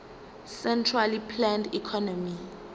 centrally planned economy